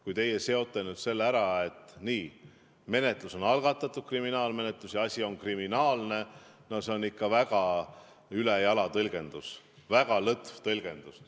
Kui teie seote nüüd selle ära nii, et menetlus on algatatud, kriminaalmenetlus, ja asi on kriminaalne, siis see on ikka väga ülejala tõlgendus, väga lõtv tõlgendus.